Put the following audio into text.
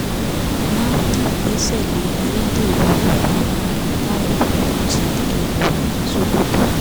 nafdp gbẹ́sẹ̀ lé ayédèrú oògùn amáralé táwọn ọkùnrin fi ń ṣe kẹrẹwà ní sokoto